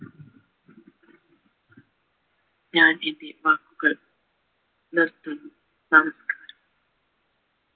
ഞാൻ എൻ്റെ വാക്കുകൾ നിര്ത്തുന്നു നമസ്കാരം